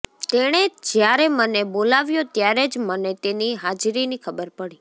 તેણે જ્યારે મને બોલાવ્યો ત્યારે જ મને તેની હાજરીની ખબર પડી